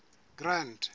grand